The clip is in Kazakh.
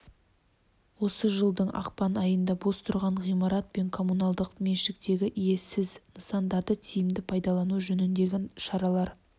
осы жылдың ақпан айында бос тұрған ғимарат пен коммуналдық меншіктегі иесіз нысандарды тиімді пайдалану жөніндегі шаралар